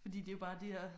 Fordi det er jo bare de der